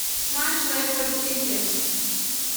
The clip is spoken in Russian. матч лестер сити